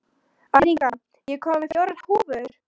Arnika, ég kom með fjórar húfur!